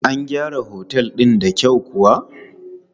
An gyara Otel din da kyau kuwa?